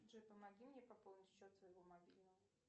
джой помоги мне пополнить счет своего мобильного